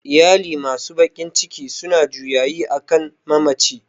Iyali masu bakin ciki suna juyayi akan mamaci